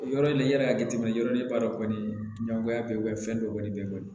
Yɔrɔ in i yɛrɛ y'a jateminɛ yɔrɔlenba kɔni ɲɛngoya bɛ fɛn dɔ kɔni bɛ kɔni